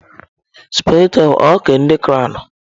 Sụpaghetị ahụ ọ nke ndị crọwnu?